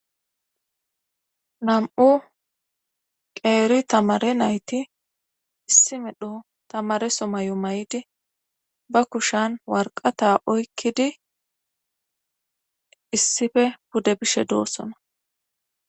Nam,u qeeri tamare nayti issimedho tamare somay7u may7di ba kushan warqata oykkidi issife budde bishe doossona